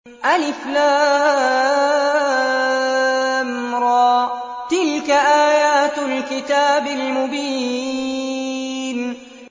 الر ۚ تِلْكَ آيَاتُ الْكِتَابِ الْمُبِينِ